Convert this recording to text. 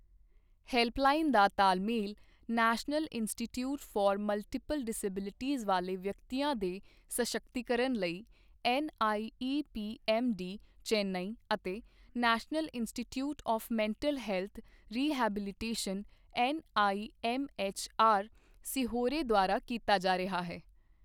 Helpline ਦਾ ਤਾਲਮੇਲ National Institute for Multiple Disabilities ਵਾਲੇ ਵਿਅਕਤੀਆਂ ਦੇ ਸਸ਼ਕਤੀਕਰਨ ਲਈ ਐੱਨਆਈਈਪੀਐੱਮਡੀ, ਚੇਨਈ ਅਤੇ National Institute of Mental Health Rehabilitation NIMHR, Sehore ਦੁਆਰਾ ਕੀਤਾ ਜਾ ਰਿਹਾ ਹੈ।